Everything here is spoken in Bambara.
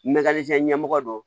Mɛkali fɛn ɲɛmɔgɔ do